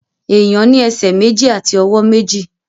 Èèyàn ní ẹsẹ̀ méjì àti ọwọ́ méjì